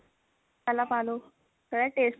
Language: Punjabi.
ਪਹਿਲਾ ਪਾ ਲਓ ਪਹਿਲਾ taste change